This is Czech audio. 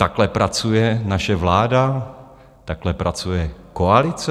Takhle pracuje naše vláda, takhle pracuje koalice?